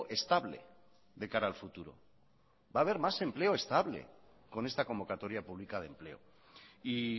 estable de cara al futuro va a haber más empleo estable con esta convocatoria pública de empleo y